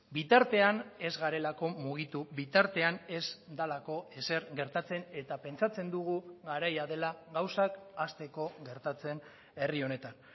bitartean ez garelako mugitu bitartean ez delako ezer gertatzen eta pentsatzen dugu garaia dela gauzak hasteko gertatzen herri honetan